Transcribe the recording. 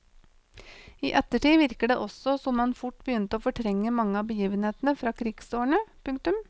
I ettertid virker det også som han fort begynte å fortrenge mange av begivenhetene fra krigsårene. punktum